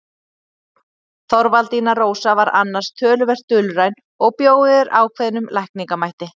Þorvaldína Rósa var annars töluvert dulræn og bjó yfir ákveðnum lækningamætti.